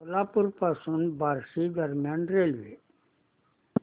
सोलापूर पासून बार्शी दरम्यान रेल्वे